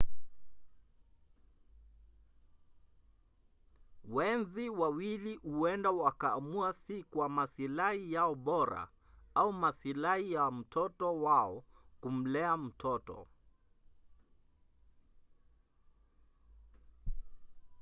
wenzi wawili huenda wakaamua si kwa masilahi yao bora au masilahi ya mtoto wao kumlea mtoto